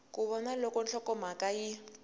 ku vona loko nhlokomhaka yi